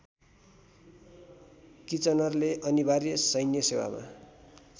किचनरले अनिवार्य सैन्यसेवामा